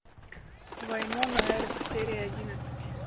вайнона эрп серия одиннадцать